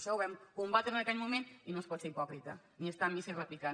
això ho vam combatre en aquell moment i no es pot ser hipòcrita ni estar a missa i repicant